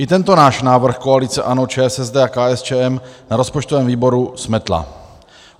I tento náš návrh koalice ANO, ČSSD a KSČM na rozpočtovém výboru smetla.